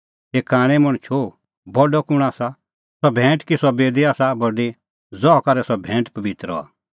हे कांणै मणछो बडअ कुंण आसा सह भैंट कि सह बेदी आसा बडी ज़हा करै सह भैंट पबित्र हआ